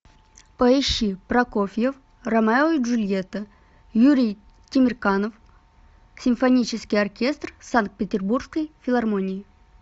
поищи прокофьев ромео и джульетта юрий темирканов симфонический оркестр санкт петербургской филармонии